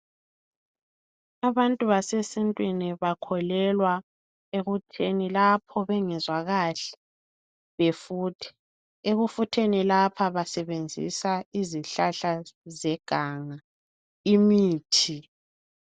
Abantu basesintwini bakholelwa ekutheni lapho bengezwa kahle, befuthe. Ekufutheni lapha basebenzisa izihlahla zeganga, imithi.